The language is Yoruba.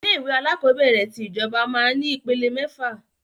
Ilé ìwé alakọ̀bẹ́ẹ́rẹ̀ tí ìjọba máa ń ní ìpele mẹ́fà